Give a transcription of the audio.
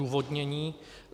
Odůvodnění.